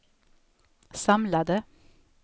samlade